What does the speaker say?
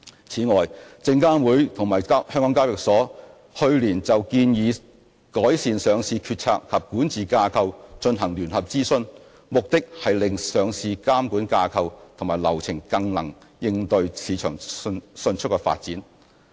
此外，證監會及香港交易所去年就"建議改善上市決策及管治架構"進行聯合諮詢，目的是令上市監管架構及流程更能應對市場迅速的發展。